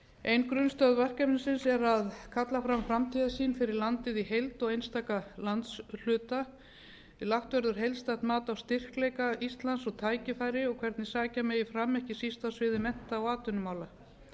ein grunnstoð verkefnisins er að kalla fram framtíðarsýn fyrir landið í heild og einstaka landshluta lagt verður heildstætt mat á styrkleika íslands og tækifæri og hvernig sækja megi fram ekki síst á sviði mennta og atvinnumála